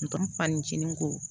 fanicini ko